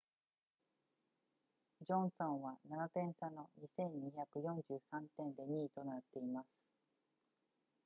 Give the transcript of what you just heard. ジョンソンは7点差の 2,243 点で2位となっています